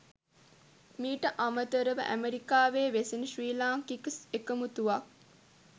මීට අමතරව ඇමෙරිකාවේ වෙසෙන ශ්‍රී ලාංකික එකමුතුවක්